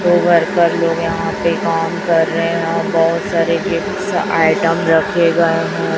दो वर्कर लोग यहां पे काम कर रहे हैं और बहुत सारे गिफ्ट्स आइटम रखे गए हैं।